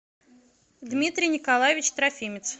дмитрий николаевич трофимец